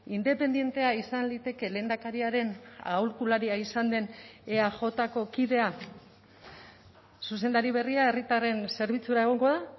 independentea izan liteke lehendakariaren aholkularia izan den eajko kidea zuzendari berria herritarren zerbitzura egongo da